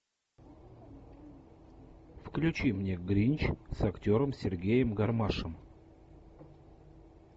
включи мне гринч с актером сергеем гармашем